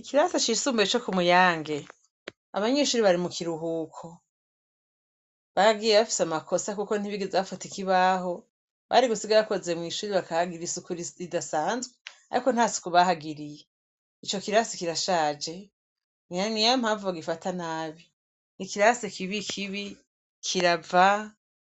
Ikirasi cisumbuye co kumuyange, abanyeshure bari mu kiruhuko. Bagiye bafise amakosa kuko ntibigeze bafuta ikibaho. Bari gusiga bakoze mw'ishure bakahagirira isuku ridasanzwe, ariko nta suku baharigirye. Ico kirasi kirashaje. Ngira niyo mpamvu bagufata nabi. Ni ikirasi kibikibi, kirava,